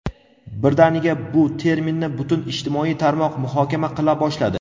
birdaniga bu terminni butun ijtimoiy tarmoq muhokama qila boshladi.